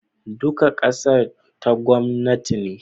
duka ƙasa ta gwamnati ne